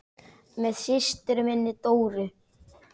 Með systur minni, Dóru.